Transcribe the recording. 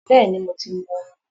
Bẹ́ẹ̀ni, mo ti mu omi